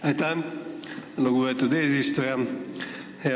Aitäh, lugupeetud eesistuja!